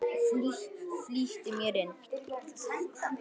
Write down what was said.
Flýtti mér inn.